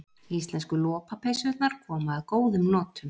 Íslensku lopapeysurnar koma að góðum notum